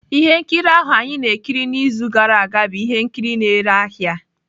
Ihe nkiri ahụ anyị na-ekiri n'izu gara aga bụ ihe nkiri na-ere ahịa.